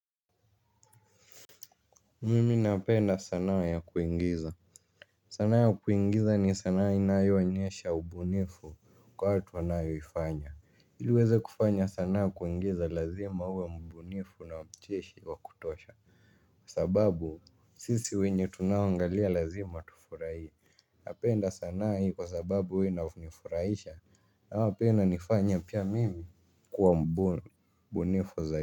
Mimi napenda sanaa ya kuingiza. Sanaa ya kuingiza ni sanaa inayo o nyesha ubunifu kwa watu wanayo ifanya ili uweze kufanya sanaa kuingiza lazima uwe mbunifu na mcheshi wa kutosha. Kwa sababu sisi wenye tunao angalia lazima tufurahie. Napenda sanaa hii kwa sababu huwa ina nifurahisha aa pia inanifanya pia mimi kuwa mbunifu zai.